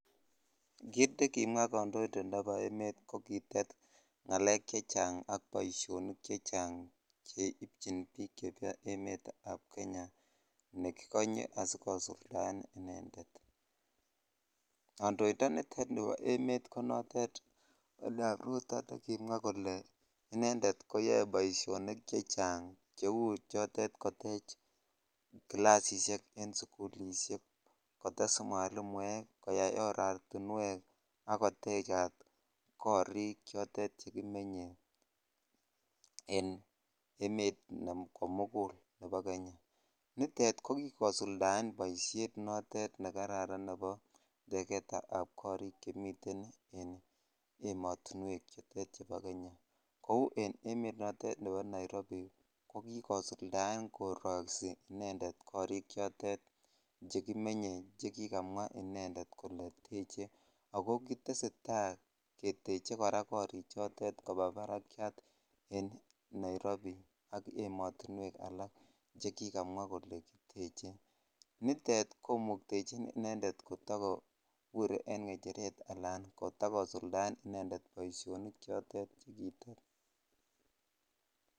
Kit nekimwa kandoindet nebo emet ko kitet ngalek chechang ak boisionik chechang cheityin biik chemiten emet ab Kenya chekikonye asikosuldaen inended kondoindonitet nibo emet ko nitet William ruto ne kimwa kole kole yoe boisionik chechang cheu chotet kotech classishek en sukulishek kotes mwalimuek koyaa oratinwek ak kotekat korik chitet chitet chekimenye en emet komukul nebo Kenya nitet ko kikosildaen boisiet nekararan nebo teketab korik chemiten en emet chutet chebo Kenya kou en emet nebo Nairobi ko kikosuldaen koroisi inended korik chekimeny chekikamwa inended kole teched ako tesetai koraa korichotet kopa barak en Nairobi ak en ematuwek alak chekikamwa kole kiteche nitet komuktechin inended kotakobur en ngecheret alan kotakosuldaen inended boisionik chotet chekitet.